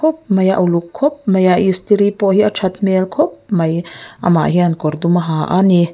khawp mai a uluk khawp maia istiri pawh hi that hmel khawp mai amah hian kawr dum a ha a ni.